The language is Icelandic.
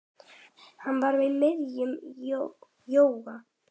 Hann var í miðjum jóga